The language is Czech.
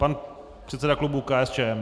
Pan předseda klubu KSČM.